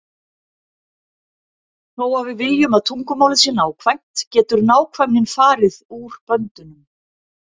Þó að við viljum að tungumálið sé nákvæmt getur nákvæmnin farið út böndunum.